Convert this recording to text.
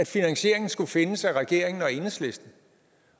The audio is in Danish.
finansieringen skulle findes af regeringen og enhedslisten